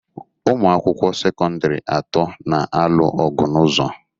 Ụmụ akwụkwọ sekọndịrị atọ n'alụ ọgwu n'ụzọ.